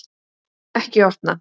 Ekki opna